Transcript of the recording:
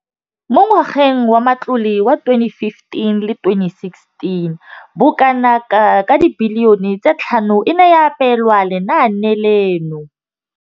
Mo ngwageng wa matlole wa 2015,16, bokanaka R5 703 bilione e ne ya abelwa lenaane leno.